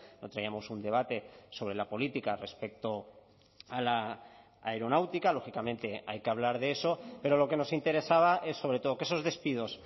no traíamos un debate sobre la política respecto a la aeronáutica lógicamente hay que hablar de eso pero lo que nos interesaba es sobre todo que esos despidos